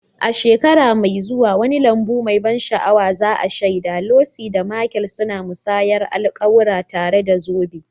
A shekara mai zuwa, wani lambu mai ban sha'awa za'a shaida Lucy da Michael suna musayar alƙawura, tare da zoben.